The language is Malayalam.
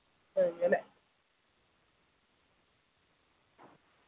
അങ്ങനെ